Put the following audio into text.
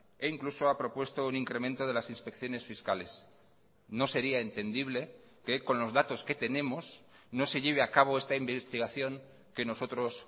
e incluso ha propuesto un incremento de las inspecciones fiscales no sería entendible que con los datos que tenemos no se lleve a cabo esta investigación que nosotros